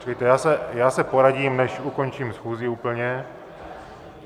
Počkejte, já se poradím, než ukončím schůzi úplně.